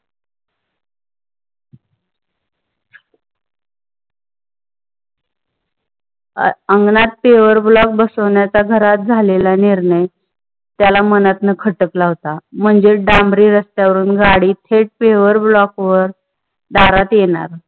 अंगणात pave block बसवण्याचा घरात झालेला निर्णय, त्याला मनांतन खटकला होता म्हणजे डांबरी रस्त्यावर गाडी थेट pave block वर दारात येणार.